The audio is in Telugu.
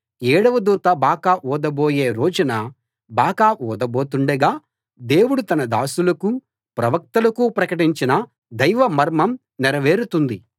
ఏడవ దూత బాకా ఊదబోయే రోజున బాకా ఊదబోతుండగా దేవుడు తన దాసులకూ ప్రవక్తలకూ ప్రకటించిన దైవ మర్మం నెరవేరుతుంది